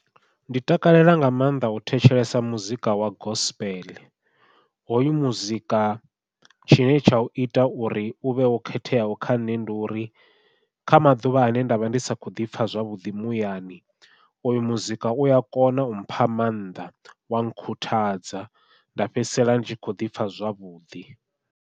Ndi takalela nga maanḓa u thetshelesa muzika wa gospel, hoyu muzika tshine tsha u ita uri u vhe wo khetheaho kha nṋe ndi uri kha maḓuvha ane nda vha ndi sa kho ḓipfha zwavhuḓi muyani uyu muzika uya kona u mpha maanḓa wa khuthadza nda fhedzisela ndi tshi kho ḓipfha zwavhuḓi.